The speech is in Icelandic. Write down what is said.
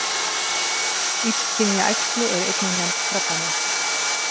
Illkynja æxli eru einnig nefnd krabbamein.